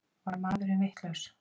Var maðurinn vitlaus?